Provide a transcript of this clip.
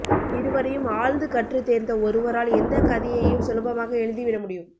இருவரையும் ஆழ்ந்து கற்று தேர்ந்த ஒருவரால் எந்தக் கதையையும் சுலபமாக எழுதிவிட முடியும்